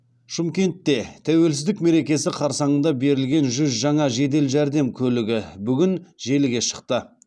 шымкентте тәуелсіздік мерекесі қарсаңында берілген жүз жаңа жедел жәрдем көлігі бүгін желіге шықты